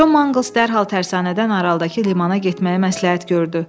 Con Manqles dərhal tərsanədən aralıdakı limana getməyi məsləhət gördü.